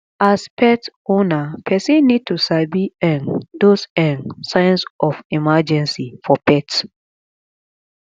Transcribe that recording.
as pet owner person need to sabi um those um signs of emergency for pet